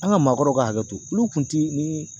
An ka maakɔrɔw ka hakɛ to olu kun ti ni